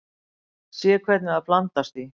Sé hvernig það blandast því.